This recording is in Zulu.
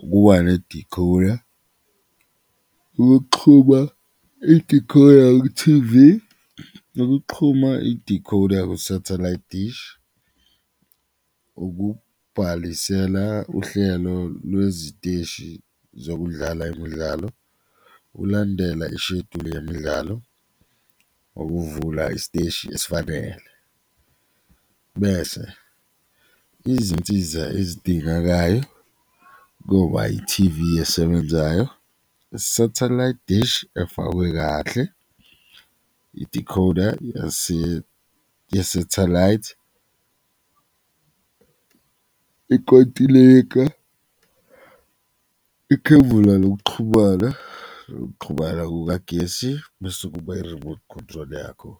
ukuba ne-decoder, ukuxhuma i-decoder ku-T_V, ukuxhuma i-decoder ku-satellite dish, ukubhalisela uhlelo lweziteshi zokudlala imidlalo ulandela isheduli yemidlalo, ukuvula isiteshi esifanele. Bese izinsiza ezidingakayo koba i-T_V esebenzayo, i-satellite dish efakwe kahle, i-decoder ye-satellite, ikotileka, ikhevula lokuxhumana, nokuxhumana kukagesi bese kuba i-remote control yakho.